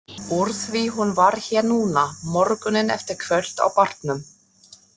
Úr því hún var hér núna, morguninn eftir kvöld á barnum.